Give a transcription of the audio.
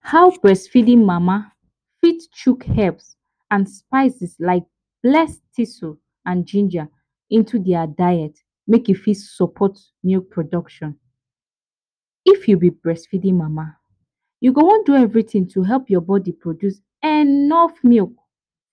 How breast feeding mama fit chook herbs and spices like bless tussle and ginger into their diet make e fit support milk production, if u b breastfeeding mama u go wan do anytin wey go help your body produce enough milk